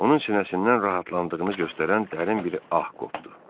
Onun sinəsindən rahatlandığını göstərən dərin bir ah qopdu.